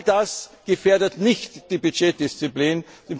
All das gefährdet nicht die Budgetdisziplin.